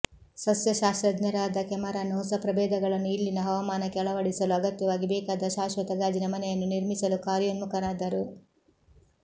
ಸಸ್ಯ ಶಾಸ್ತ್ರಜ್ಞರಾದ ಕೆಮರಾನ್ ಹೊಸ ಪ್ರಭೇದಗಳನ್ನು ಇಲ್ಲಿನ ಹವಾಮಾನಕ್ಕೆ ಅಳವಡಿಸಲು ಅಗತ್ಯವಾಗಿ ಬೇಕಾದ ಶಾಶ್ವತ ಗಾಜಿನ ಮನೆಯನ್ನು ನಿರ್ಮಿಸಲು ಕಾರ್ಯೋನ್ಮುಖರಾದರು